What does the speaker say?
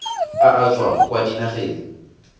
a a tswang kwa dinageng